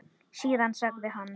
Síðan sagði hann